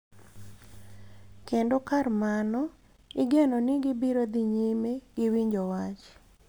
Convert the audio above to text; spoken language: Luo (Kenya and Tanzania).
Kendo kar mano, igeno ni gibiro dhi nyime gi winjo wach.